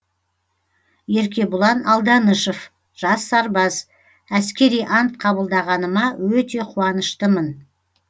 еркебұлан алданышов жас сарбаз әскери ант қабылдағаныма өте қуаныштымын